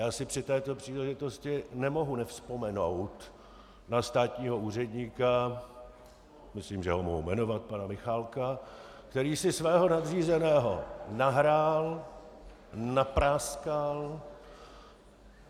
Já si při této příležitosti nemohu nevzpomenout na státního úředníka, myslím, že ho mohu jmenovat, pana Michálka, který si svého nadřízeného nahrál, napráskal.